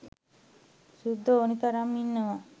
සුද්දො ඕන තරම් ඉන්නවා